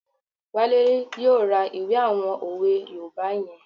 Wale yóò ra ìwé àwọn òwe yoòbá yẹn